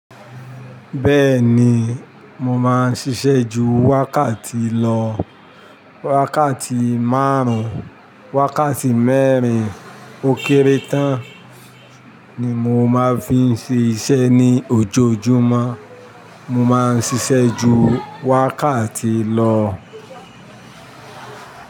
Bẹ́ẹ̀ ni, mo máa ń ṣiṣẹ́ ju wákàtí lọ. Wákàtí máarùn-ún, wákàtí mẹ́rin ó kéré tán ni mo máa ń fi ń ṣe iṣẹ́ ní ojoojúmọ́. Mo máa ń ṣiṣẹ́ ju wákàtí lọ.